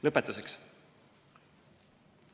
Lõpetuseks.